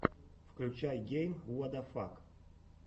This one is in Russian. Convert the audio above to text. включай гейм уадафак